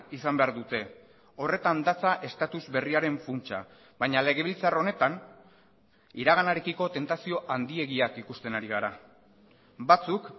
izan behar dute horretan datza estatus berriaren funtsa baina legebiltzar honetan iraganarekiko tentazio handiegiak ikusten ari gara batzuk